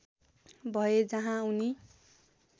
भए जहाँ उनी